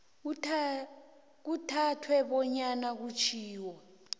kuthathwe bonyana kutjhiwo